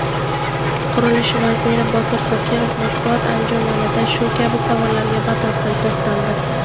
Qurilish vaziri Botir Zokirov matbuot anjumanida shu kabi savollarga batafsil to‘xtaldi.